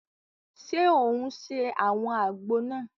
Ṣe o ń se awọn àgbo náà?